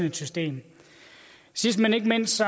et system sidst men ikke mindst